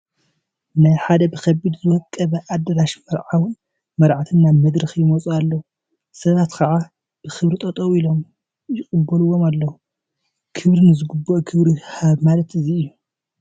ናብ ሓደ ብኸቢድ ዝወቀበ ኣዳራሽ መርዓውን መርዓትን ናብ መድረኽ ይወፁ ኣለዉ፡፡ ሰባት ከዓ ብኽብሪ ጠጠው ኢሎም ይቕበልዎም ኣለዉ፡፡ ክብሪ ንዝግብኦ ክብሪ ሃብ ማለት እዚ እዩ፡፡